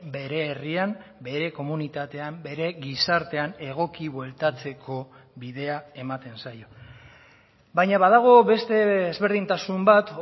bere herrian bere komunitatean bere gizartean egoki bueltatzeko bidea ematen zaio baina badago beste ezberdintasun bat